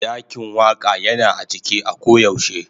Dakin Waka Yana a cike a koyaushe.